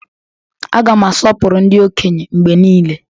Aga m asọpụrụ ndị okenye mgbe niile.